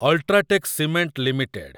UltraTech cement limited